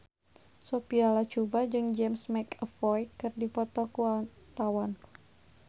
Sophia Latjuba jeung James McAvoy keur dipoto ku wartawan